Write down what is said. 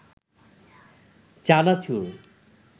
চানাচুর